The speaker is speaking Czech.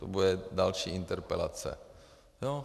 To bude další interpelace.